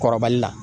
Kɔrɔbali la